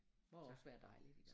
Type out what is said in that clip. Må også være dejligt